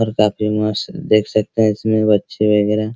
और काफी मस्त देख सकते है इसमें बच्चे वगैरह --